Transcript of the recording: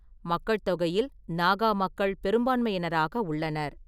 மக்கள்தொகையில் நாகா மக்கள் பெரும்பான்மையினராக உள்ளனர்.